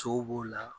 Sow b'o la